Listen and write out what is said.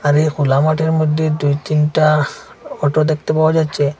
তাদের খোলা মাঠের মইদ্যে দুই তিনটা অটো দেখতে পাওয়া যাচ্চে।